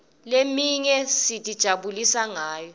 leminye sitijabulisa ngayo